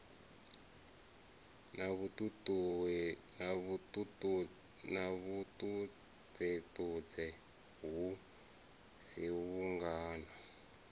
na vhuṱudzeṱudze hu si vhungana